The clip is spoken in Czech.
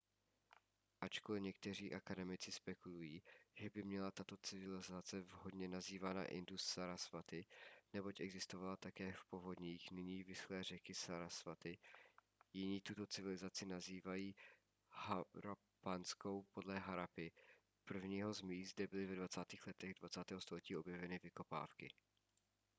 ačkoli někteří akademici spekulují že by měla být tato civilizace vhodně nazývána indus-sarasvati neboť existovala také v povodích nyní vyschlé řeky sarasvati jiní tuto civilizaci nazývají harappanskou podle harappy prvního z míst kde byly ve 20. letech 20. století objeveny vykopávky